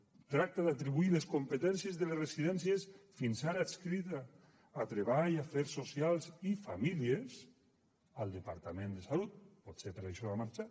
tracta d’atribuir les competències de les residències fins ara adscrites a treball afers socials i famílies al departament de salut potser per això ha marxat